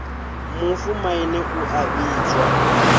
mufu maine u a vhidzwa